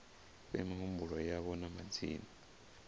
fhe mihumbulo yavho na madzina